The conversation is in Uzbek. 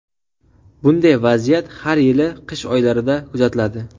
Bunday vaziyat har yili qish oylarida kuzatiladi.